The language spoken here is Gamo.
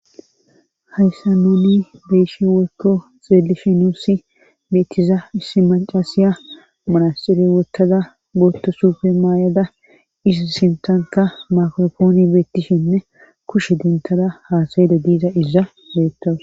hayssa nuuni beyishe weykko xeelishi nuussi beettiza issi macaasiya manasxire wottada booto sufe maayada is sintanka makrofooni beettishinne kushe dintada haasayeda diiza iza beettowus